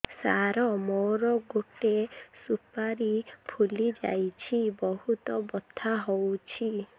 ସାର ମୋର ଗୋଟେ ସୁପାରୀ ଫୁଲିଯାଇଛି ବହୁତ ବଥା ହଉଛି